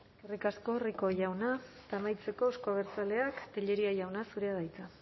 eskerrik asko rico jauna eta amaitzeko euzko abertzaleak tellería jauna zurea da hitza